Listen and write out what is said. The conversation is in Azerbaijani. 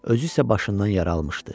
özü isə başından yara almışdı.